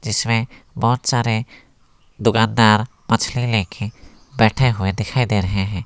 इसमें बहुत सारे दुकानदार मछली लेके बैठे हुए दिखाई दे रहे है।